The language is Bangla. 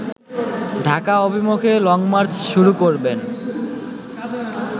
ডাকা অভিমুখে লংমার্চ শুরু করবেন